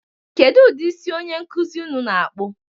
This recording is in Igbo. Kedu ụdị isi onye nkụzi unu na-akpụ?